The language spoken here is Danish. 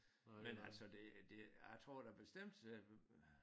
Men altså det øh det jeg tror da bestemt øh